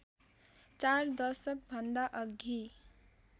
चार दशक भन्दाअघि